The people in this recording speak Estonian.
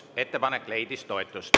Ettepanek leidis toetust.